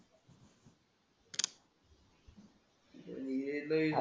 येतंय,